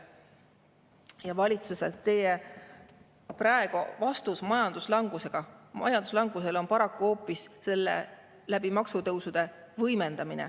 Ja praegu on valitsuse vastus majanduslangusele paraku hoopis selle võimendamine maksutõusudega.